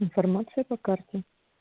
информация по карте